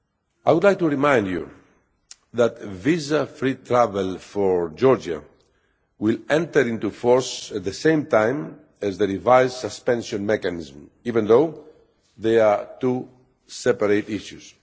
I would like to remind you that visa free travel for Georgia will enter into force at the same time as the revised suspension mechanism, even though they are two separate issues.